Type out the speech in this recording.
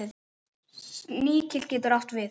Sníkill getur átt við